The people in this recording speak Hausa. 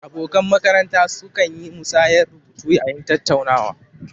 Abokan makaranta su kan yi musayar rubutu yayin tattaunawa